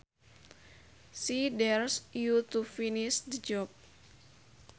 She dares you to finish the job